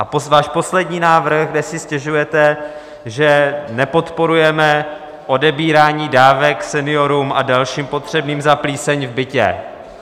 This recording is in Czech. A váš poslední návrh, kde si stěžujete, že nepodporujeme odebírání dávek seniorům a dalším potřebným za plíseň v bytě...